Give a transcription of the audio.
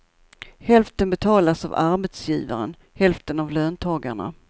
Hälften betalas av arbetsgivaren, hälften av löntagarna.